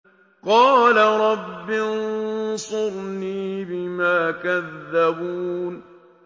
قَالَ رَبِّ انصُرْنِي بِمَا كَذَّبُونِ